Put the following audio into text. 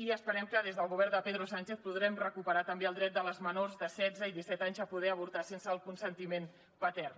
i esperem que des del govern de pedro sánchez podrem recuperar també el dret de les menors de setze i disset anys a poder avortar sense el consentiment patern